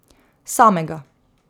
Samega.